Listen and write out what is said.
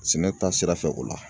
Sɛnɛ bɛ taa sira fɛ o la